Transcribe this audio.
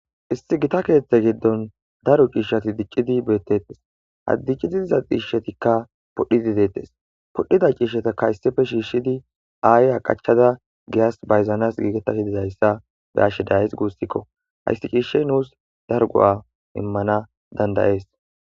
issi gita keeththe giddon daru ciishshati diccidi bettettes haddiccidi diza ciishshetikka podhidi deettes podhida ciishshetakka hyssife shiishshidi aayya qachada giyas bayzanas giigetasi dizayssa be ashshe days guussikko haysti ciishshe nuus dargu7a immana dandayees